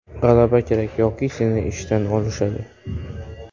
G‘alaba kerak yoki seni ishdan olishadi”.